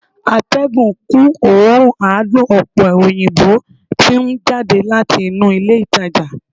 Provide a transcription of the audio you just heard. atégùn kun òórùn adùn òpe òyìnbó ti n jade lati inu ilé ìtajà